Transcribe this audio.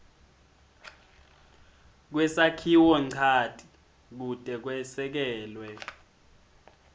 kwesakhiwonchanti kute kwesekelwe